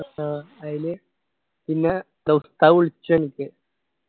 ആഹ് അയില് പിന്നെ വിളിച്ചു എനിക്ക്